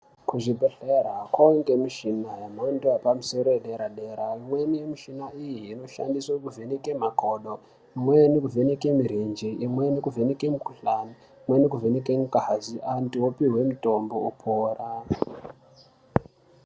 Kuzvibhedhlera kuwanikwa mishina yemhando yepamusoro yedera dera imweni yemushina iyi inoshandiswa kuvheneka makodo imweni kuvheneke mirenje imweni kuvheneke mikuhlani imweni kuvheneka ngazi vantu vopuwa mutombo vopora.